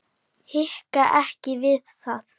Hika ekki við það.